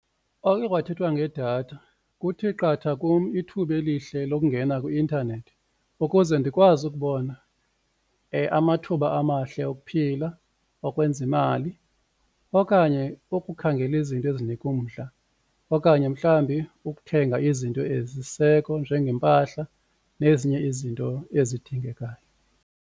Oke kwathethwa ngedatha kuthi qatha kum ithuba elihle lokungena kwi-intanethi ukuze ndikwazi ukubona amathuba amahle okuphila, okwenza imali okanye ukukhangela izinto ezinika umdla okanye mhlawumbi ukuthenga izinto ezisisiseko njengeempahla nezinye izinto ezidingekayo.